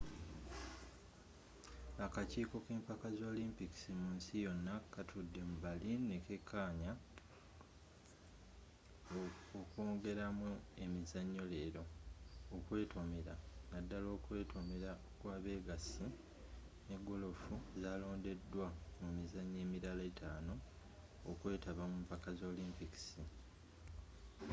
akakiiko k'empaka za olimpikisi munsi yona kaatudde mu berlin nekakaanya okwongeramu emizanyo leero okwetomera naddala okwetomera kw'abegasi nne golofu zalondedwa mumizanyo emirala etanu okwetaba mumpaka za olimpikisi